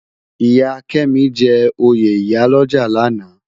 Iya Kemi jè óyé iyá lòjá làná